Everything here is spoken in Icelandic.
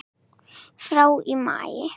frá í maí.